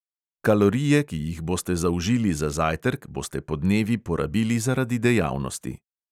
Kalorije, ki jih boste zaužili za zajtrk, boste podnevi porabili zaradi dejavnosti.